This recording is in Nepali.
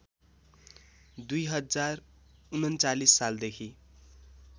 २०३९ सालदेखि